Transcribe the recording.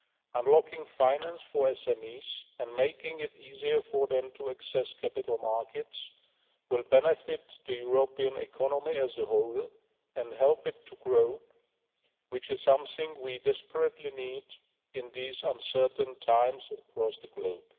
Unlocking finances for SMEs and making it easier for them to access capital markets will benefit the European economy as a whole and help it to grow, which is something we desperately need in these uncertain times across the globe.